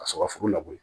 Ka sɔrɔ ka foro labɔ yen